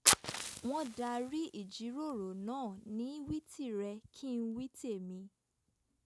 wọ́n darí ìjíròrò náà ní wí tìrẹ - kí-n- wí- tèmi